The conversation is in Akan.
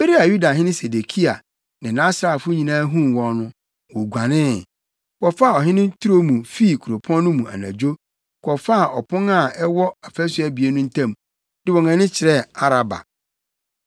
Bere a Yudahene Sedekia ne nʼasraafo nyinaa huu wɔn no, woguanee, wɔfaa ɔhene turo mu fii kuropɔn no mu anadwo, kɔfaa ɔpon a ɛwɔ afasu abien no ntam, de wɔn ani kyerɛɛ Araba.